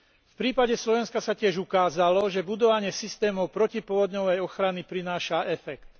V prípade Slovenska sa tiež ukázalo, že budovanie systémov protipovodňovej ochrany prináša efekt.